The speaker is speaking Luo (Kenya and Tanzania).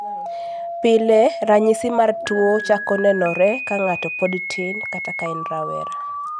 Pile, rachisi mar tuwo chako nenore ka ng'ato pod tin kata ka en rawera.